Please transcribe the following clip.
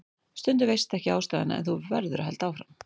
Stundum veistu ekki ástæðuna en þú verður að halda áfram.